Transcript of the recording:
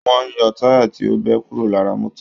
Wọ́n ń yọ táyà tí ó bẹ kúró lara mọ́tò